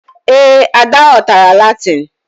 Ee, Ada ghọtara Latin